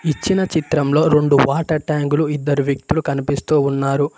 ఇచ్చిన చిత్రంలో రెండు వాటర్ ట్యాంకులు ఇద్దరు వ్యక్తులు కనిపిస్తూ ఉన్నారు.